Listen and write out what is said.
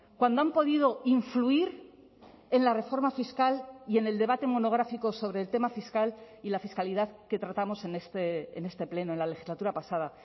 cuando han podido influir en la reforma fiscal y en el debate monográfico sobre el tema fiscal y la fiscalidad que tratamos en este pleno en la legislatura pasada